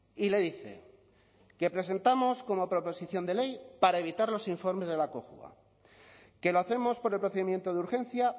y le dice que presentamos como proposición de ley para evitar los informes de la cojua que lo hacemos por el procedimiento de urgencia